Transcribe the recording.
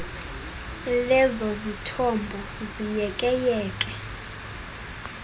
lezo zithombo ziyekeyeke